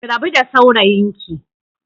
Ki rabu da saurayinki